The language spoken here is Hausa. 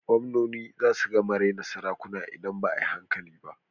Gwamnoni zasu gama raina sarakuna ida ba a yi hankali ba.